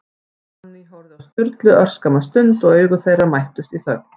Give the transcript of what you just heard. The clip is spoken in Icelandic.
Fanný horfði á Sturlu örskamma stund, og augu þeirra mættust í þögn.